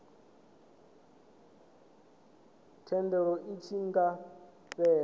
thendelo i tshi nga fhela